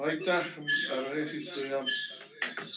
Aitäh, hea eesistuja!